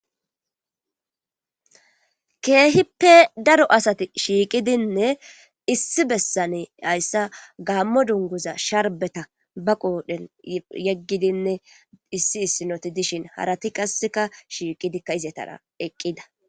Keehippe daro asati shiiqidinne issi bessane hayssa gaammo dunguza sharbeta ba quodhen yeggidinne issi issinoti dishin harati qasseka shiiqidikka izetara eqqida..